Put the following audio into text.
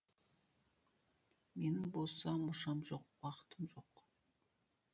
менің боса мұршам жоқ уақытым жоқ